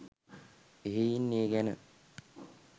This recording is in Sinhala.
එහෙයින් ඒ ගැන